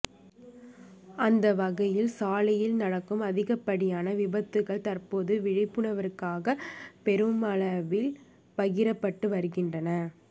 அந்த வகையில் சாலையில் நடக்கும் அதிகப்படியான விபத்துக்கள் தற்போது விழிப்புணர்வுக்காக பெருமளவில் பகிரப்பட்டு வருகின்றன